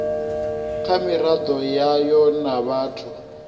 kha miraḓo yayo na vhathu